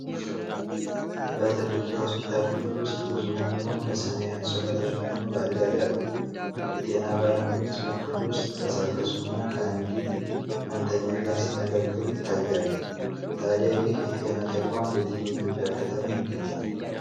በትልቅ የሆስፒታል ክፍል ውስጥ ብዙ ህሙማን በሰማያዊ አንሶላ ተሸፍነው በአልጋ ላይ አሉ። የጤና ባለሙያዎች በክፍሉ ውስጥ ሲንቀሳቀሱና ከአንዲት ህመምተኛ ጋር ሲነጋገሩ ይታያሉ። ታዲያ ይህ የጤና ተቋም በየትኛው የኢትዮጵያ ከተማ ይገኛል?